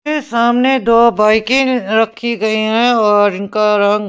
ये सामने दो बाइकें रखी गई हैं और इनका रंग--